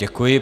Děkuji.